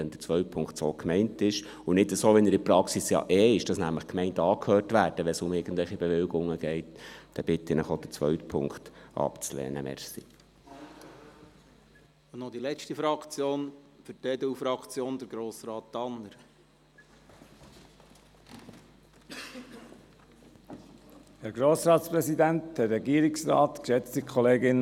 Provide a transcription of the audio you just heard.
Wenn der zweite Punkt so gemeint ist und nicht so, wie er in der Praxis ja eh ist, dass nämlich die Gemeinden angehört werden, wenn es um irgendwelche Bewilligungen geht, dann bitte ich Sie, auch den zweiten Punkt abzulehnen.